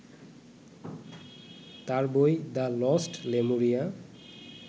তার বই the lost Lemuria